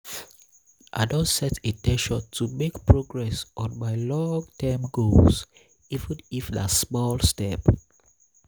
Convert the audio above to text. i dey set in ten tion to make um progress on my long-term goals even if na small step.